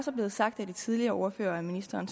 er blevet sagt af de tidligere ordførere og af ministeren